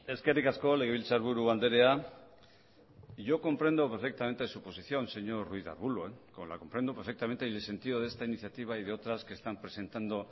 eskerrik asko legebiltzarburu andrea yo comprendo perfectamente su posición señor ruiz de arbulo la comprendo perfectamente y el sentido de esta iniciativa y de otras que están presentando